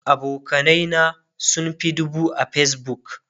abokanai na sun Fi dubu a Facebook